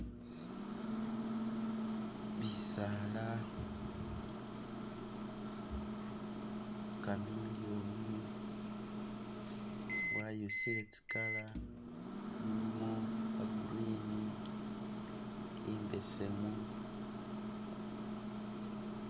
Mushisala, chameleon wayusile tsi'colour, mulimo green, imbesemu,